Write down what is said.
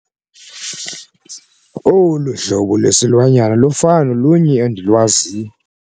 Olu hlobo lwesilwanyana lufana nolunye endilwaziyo.